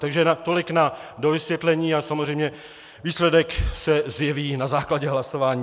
Takže tolik na dovysvětlení a samozřejmě výsledek se zjeví na základě hlasování.